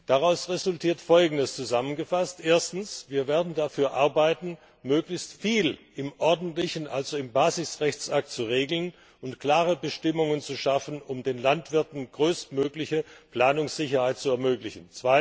Daraus resultiert zusammengefasst Folgendes Erstens Wir werden dafür arbeiten, möglichst viel im ordentlichen, also im Basisrechtsakt zu regeln und klare Bestimmungen zu schaffen, um den Landwirten größtmögliche Planungssicherheit zu ermöglichen.